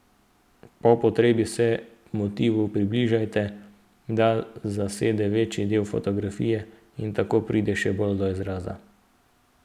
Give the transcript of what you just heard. Po potrebi se motivu približajte, da zasede večji del fotografije in tako pride še bolj do izraza.